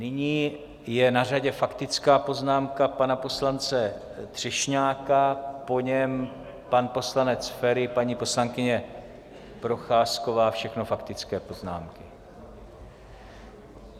Nyní je na řadě faktická poznámka pana poslance Třešňáka, po něm pan poslanec Feri, paní poslankyně Procházková, všechno faktické poznámky.